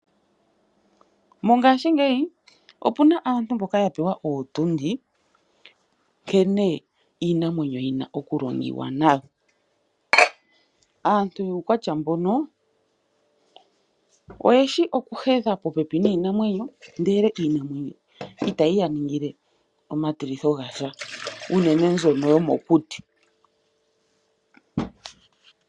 Mongashingeyi opuna aantu mboka yapewa ootundi nkene iinamwenyo yina okulongiwa nayo. Aantu yuukwatya mbono oyeshi okuhedha popepi niinamwenyo ndele itayi yaningile omatilitho gasha, unene mbyoka yomokuti.